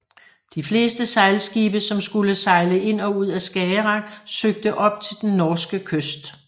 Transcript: De fleste sejlskibe som skulle sejle ind og ud af Skagerrak søgte op til den norske kyst